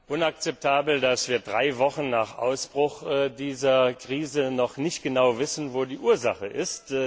Es ist inakzeptabel, dass wir drei Wochen nach Ausbruch dieser Krise immer noch nicht genau wissen, wo die Ursache ist.